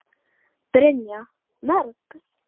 Brynja: Mörg?